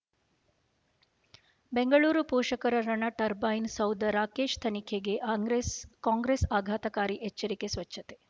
ಬೆಂಗಳೂರು ಪೋಷಕರಋಣ ಟರ್ಬೈನು ಸೌಧ ರಾಕೇಶ್ ತನಿಖೆಗೆ ಕಾಂಗ್ರೆಸ್ ಕಾಂಗ್ರೆಸ್ ಆಘಾತಕಾರಿ ಎಚ್ಚರಿಕೆ ಸ್ವಚ್ಛತೆ